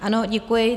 Ano, děkuji.